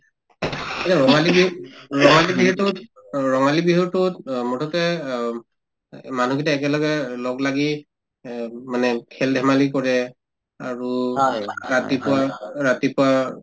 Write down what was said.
এতিয়া ৰঙালী বিহুত ৰঙালী বিহুতোত অ ৰঙালী বিহুতোত অ মুঠতে অম্ এহ্ মানুহকেইটাই একেলগে লগলাগি এব মানে খেল-ধেমালি কৰে আৰু ৰাতিপুৱা ৰাতিপুৱা